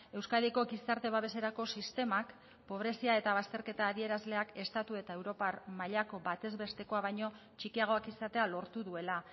euskadiko gizarte babeserako sistemak pobrezia eta bazterketa adierazleak estatu eta europar mailako batez bestekoa baino txikiagoak izatea lortu duela